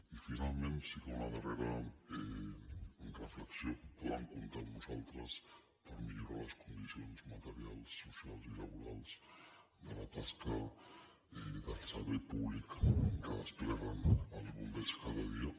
i finalment sí que una darrera reflexió poden comptar amb nosaltres per millorar les condicions materials socials i laborals de la tasca del servei públic que despleguen els bombers cada dia